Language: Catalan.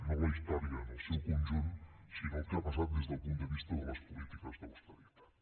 no la història en el seu conjunt sinó el que ha passat des del punt de vista de les polítiques d’austeritat